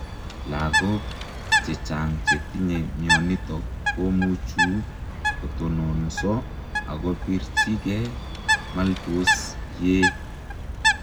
Lagok chechang chetinye mionitok komuchuu kotononsoo akopirchii gei Maltos yee